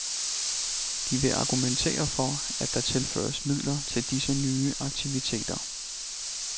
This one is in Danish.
De vil argumentere for, at der tilføres midler til disse nye aktiviteter.